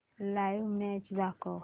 live match दाखव